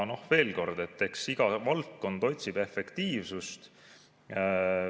Veel kord: eks iga valdkond otsib efektiivsust.